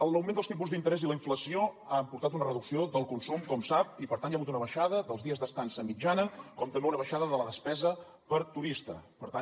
l’augment dels tipus d’interès i la inflació han portat una reducció del consum com sap i per tant hi ha hagut una baixada dels dies d’estada mitjana com també una baixada de la despesa per turista per tant